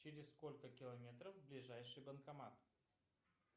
через сколько километров ближайший банкомат